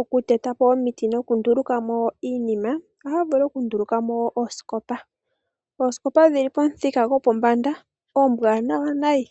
oku tetako omiti nokundulukamo iinima. Ohaya vulu okundulukamo oosikopa dhili pomuthika gwopombanda nayi.